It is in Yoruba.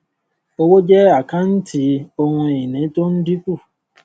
owó jẹ àkántì ohun ìní tó ń dínkù